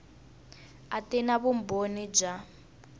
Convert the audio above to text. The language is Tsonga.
a ti na vumbhoni bya